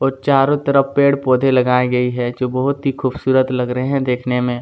और चारो तरफ पेड़ पौधे लगाए गए है जो बहोत ही खूबसूरत लग रहे है देखने में--